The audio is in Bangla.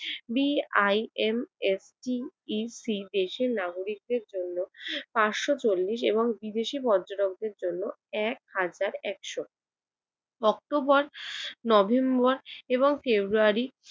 বিআইএমএসটিইসি দেশের নাগরিকদের জন্য পাঁচশ চল্লিশ এবং বিদেশি পর্যটকদের জন্য এক হাজার একশ, অক্টোবর নভেম্বর এবং ফেব্রুয়ারি